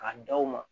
K'a da o ma